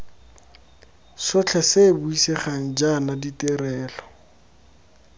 sotlhe se buisegang jaana ditirelo